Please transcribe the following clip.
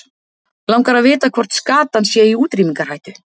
Langar að vita hvort skatan sé í útrýmingarhættu.